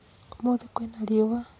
ũmũthĩ kwĩna riũa